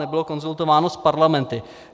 Nebylo konzultováno s parlamenty.